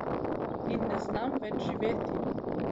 In ne znam več živeti.